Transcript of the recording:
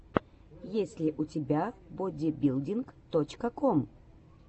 есть ли у тебя бодибилдинг точка ком